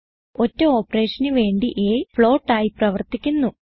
ഒറ്റ operationന് വേണ്ടി അ ഫ്ലോട്ട് ആയി പ്രവർത്തിക്കുന്നു